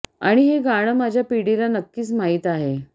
आणि हे गाणं माझ्या पिढीला नक्किच माहित आहे